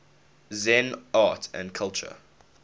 zen art and culture